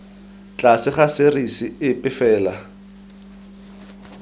tlase ga serisi epe fela